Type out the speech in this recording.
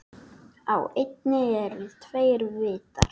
Á eynni eru tveir vitar.